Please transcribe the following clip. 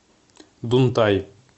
дунтай